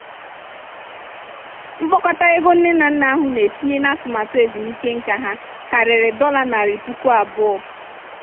mkpokọta ego nne na nna ahụ na-etinye n'atụmaatụ ezumike nká ha karịrị dollar narị puku abụọ ($200000).